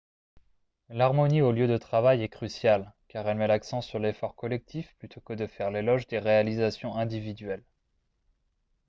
l'harmonie au lieu de travail est cruciale car elle met l'accent sur l'effort collectif plutôt que de faire l'éloge des réalisations individuelles